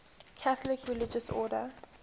catholic religious order